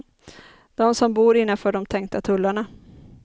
De som bor innanför de tänkta tullarna.